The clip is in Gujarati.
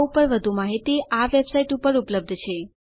આ ઉપર વધુ માહિતી આ વેબસાઇટ ઉપર ઉપલબ્ધ છે